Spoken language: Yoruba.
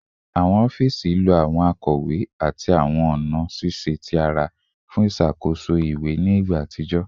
Awọn ọfiisi lo awọn akọwe ati awọn ọna ṣiṣe ti ara fun iṣakoso iwe ni igba atijọ